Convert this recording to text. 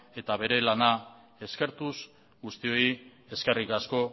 eta bere lana eskertuz guztioi eskerrik asko